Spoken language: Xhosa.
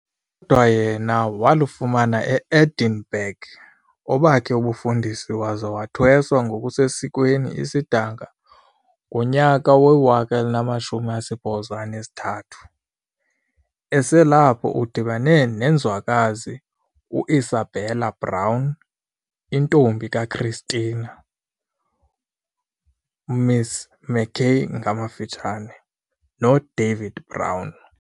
Kodwa yena walufumana eEdinburgh obakhe ubufundisi waza wathwesa ngokusesikweni isidanga soko ngo1893. Eselapho udibene nenzwakazi u-Isabella Brown, intombi kaChristina, m.s. McKay, noDavid Brown.